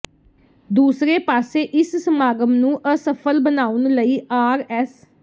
ਦੂਸਰੇ ਪਾਸੇ ਇਸ ਸਮਾਗਮ ਨੂੰ ਅਸਫਲ ਬਨਾਉਣ ਲਈ ਆਰ ਐਸ